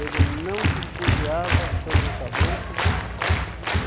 Ele não tripudiava sobre o caboclo.